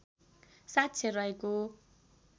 साक्षर रहेको